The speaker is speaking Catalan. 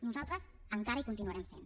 nosaltres encara hi continuarem sent